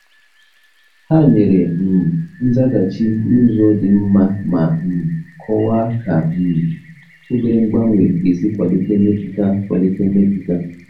Ha nyere um nzaghachi n’ụzọ dị mma ma um kọwaa ka um obere mgbanwe ga-esi kwalite mmepụta. kwalite mmepụta.